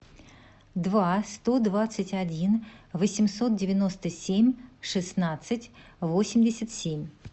два сто двадцать один восемьсот девяносто семь шестнадцать восемьдесят семь